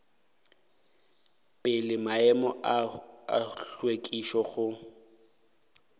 pele maemo a hlwekišo go